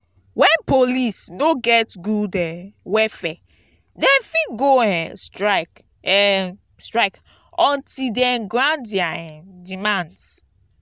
wen police no get good um welfare dem fit go um strike um strike until dem grant dia um demands.